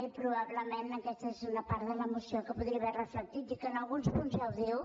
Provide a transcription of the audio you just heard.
i probablement aquesta és una part de la moció que ho podria haver reflectit i que en alguns punts ja ho diu